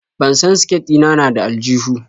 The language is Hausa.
Ban san siket ɗina na da aljuhu.